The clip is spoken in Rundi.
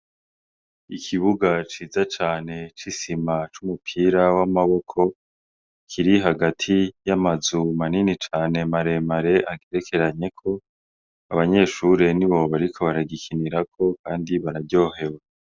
Ikibuga ciza cane c'isima c'umupira w' amaboko kiri hagati y' amazu manini cane mare mare agerekeranyeko abanyeshure nibo bariko baragikinirako kandi bararyohewe.